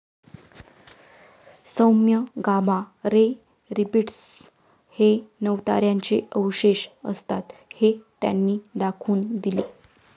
सौम्य gamma ray repeaters हे नवताऱ्यांचे अवशेष असतात, हे त्यांनी दाखवून दिले.